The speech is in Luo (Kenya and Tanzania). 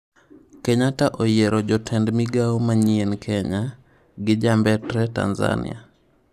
Kenyatta oyiero jotend migao manyien Kenya, gi ja mbetre Tanzania